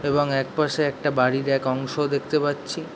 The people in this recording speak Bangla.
এবং এক পশে একটা বাড়ির এক অংশও দেখতে পাচ্ছি --